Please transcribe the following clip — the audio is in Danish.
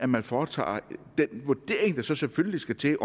man foretager den vurdering der så selvfølgelig skal til